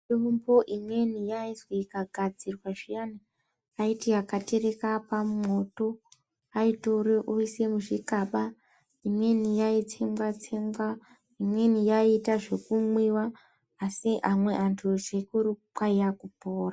Mitombo imweni yaizwi ikagadzirwa zviyani yaiti yakatereka pamwoto. Aitore oise muzvikaba imweni yaitsengwa-tsengwa imweni yaiita zvekumwiva. Asi amwe antu zvikuru kwaiya kupora.